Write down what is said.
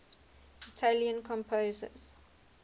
italian composers